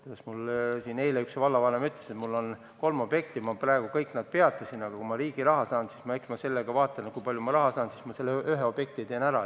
Eile mulle üks vallavanem ütles, et mul on kolm objekti, ma praegu kõik nad peatasin, aga kui ma riigi raha saan, siis eks ma vaatan, kui palju ma raha saan, aga siis ma ühe objekti teen ära.